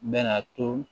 Bɛna to